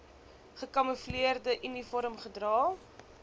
gekamoefleerde uniform gedra